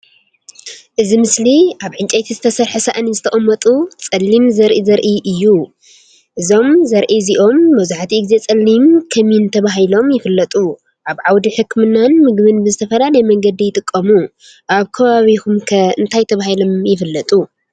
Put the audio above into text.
እዚ ምስሊ ኣብ ዕንጨይቲ ዝተሰርሐ ሳእኒ ዝተቐመጡ ጸሊም ዘርኢ ዘርኢ እዩ። እዞም ዘርኢ እዚኦም መብዛሕትኡ ግዜ “ጸሊም ከሚን” ተባሂሎም ይፍለጡ። ኣብ ዓውዲ ሕክምናን ምግቢን ብዝተፈላለየ መንገዲ ይጥቀሙ። ኣብ ከባቢኩምከ እንታይ ተባሂሎም ይፍለጡ?